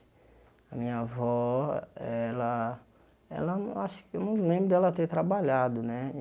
A minha avó, ela ela... Eu ach eu não lembro dela ter trabalhado, né?